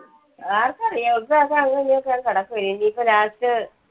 ആർക്കറിയാം. ഉൽസവൊക്കെകിടക്കുവല്ലേ ഇനീപ്പോ